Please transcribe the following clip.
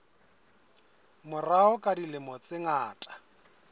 morao ka dilemo tse ngata